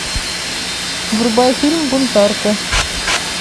врубай фильм бунтарку